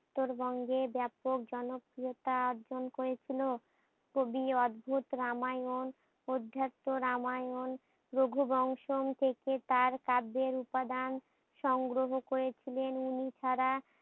উত্তরবঙ্গে বেপক জনপ্রিয়তা অর্জন করেছিল কবি অধ্যুত রামায়ণ অধ্যাত্ম রামায়ণ রঘু বংশ থেকে তার কাব্যের উপাদান সংগ্রহ করেছিলেন ইনি ছাড়া